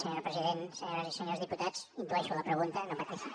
senyor president senyores i senyors diputats intueixo la pregunta no pateixin